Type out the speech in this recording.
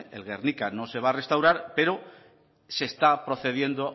el guernica no se va a restaurar pero se está procediendo